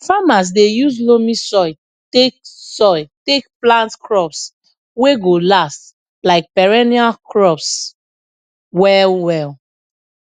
farmers dey use loamy soil take soil take plant crops wey go last like perennial crops well well